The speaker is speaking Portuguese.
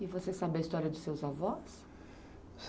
E você sabe a história dos seus avós?